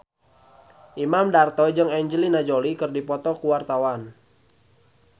Imam Darto jeung Angelina Jolie keur dipoto ku wartawan